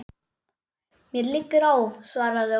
Mér liggur á, svaraði Ólafur.